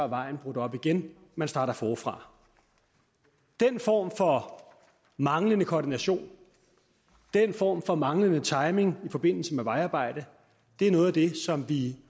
vejen brudt op igen man starter forfra den form for manglende koordination den form for manglende timing i forbindelse med vejarbejde er noget af det som vi